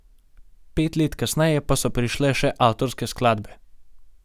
Pet let kasneje pa so prišle še avtorske skladbe ...